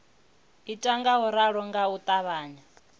ita ngauralo nga u ṱavhanya